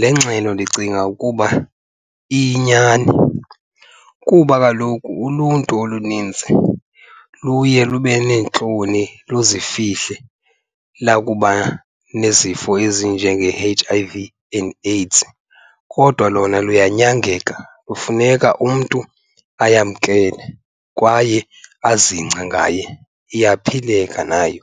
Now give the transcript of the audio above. Le ngxelo ndicinga ukuba iyinyani kuba kaloku uluntu oluninzi luye lube neentloni luzifihle lakuba nezifo ezinjenge-H_I_V and AIDS. Kodwa lona luyanyangeka, kufuneka umntu ayamkele kwaye azingce ngaye. iyapheleka nayo,